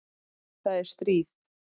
Það er stríð.